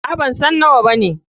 Aa, bansan nawa bane.